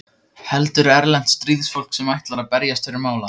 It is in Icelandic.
Heldur erlent stríðsfólk sem ætlar að berjast fyrir mála.